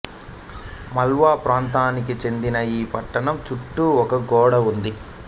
మాళ్వా ప్రాంతానికి చెందిన ఈ పట్టణం చుట్టూ ఒక గోడ ఉంది